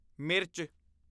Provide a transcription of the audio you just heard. ਮਿਰਚ